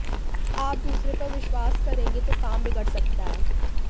आप दूसरों पर विश्वास करेंगे तो काम बिगड़ सकता है